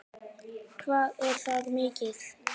Hvað er það mikið?